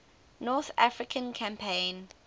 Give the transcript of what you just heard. north african campaign